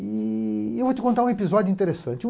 E eu vou te contar um episódio interessante.